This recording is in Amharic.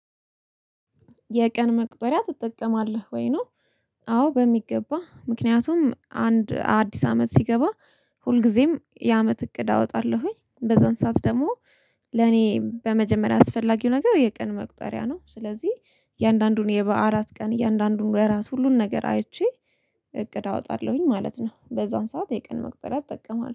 የቀን መቁጠሪያ ትጠቀማለህ ወይ ነው? አዎ በሚገባ ምክንያቱም አንድ አዲስ አመት ሲገባ ሁልጊዜም የአመት እቅድ አወጣለሁኝ በዛን ሰዓት ደግሞ። ለኔ በመጀመሪያ አስፈላጊው ነገር የቀን መቁጠሪያ ነው። ስለዚህ እያንዳንዱን የበአለት ቀን እያንዳንዱን ወራሽ ሁሉን ነገር አይቼ እቅድ አወጣለሁኝ ማለት ነው። በዚያ ሰዓት የቀን መቁጠሪያ እጠቀማለሁ